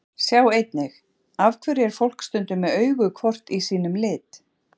Sjá einnig: Af hverju er fólk stundum með augu hvort í sínum lit?